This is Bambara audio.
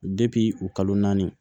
u kalo naani